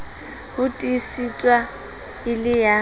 ho tiisetswa e le ya